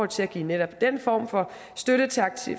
til at give netop den form for støtte til